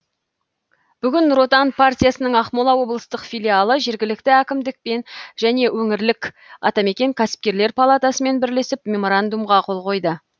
бүгін нұр отан партиясының ақмола облыстық филиалы жергілікті әкімдікпен және өңірлік атамекен кәсіпкерлер палатасымен бірлесіп меморандумға қол қойды